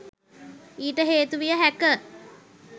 ඊට හේතු විය හැක